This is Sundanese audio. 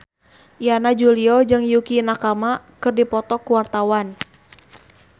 Yana Julio jeung Yukie Nakama keur dipoto ku wartawan